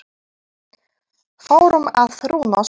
Fórum á trúnó saman.